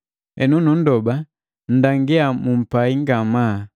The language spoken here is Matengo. Henu numndoba, mndangia mumpai ngamaa.